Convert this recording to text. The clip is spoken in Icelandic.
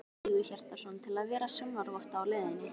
Sigurhjartarson, til að vera sjónarvotta að leitinni.